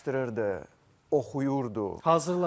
Araşdırırdı, oxuyurdu, hazırlanırdı.